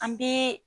An bɛ